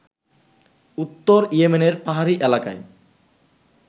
উত্তর ইয়েমেনের পাহাড়ি এলাকায়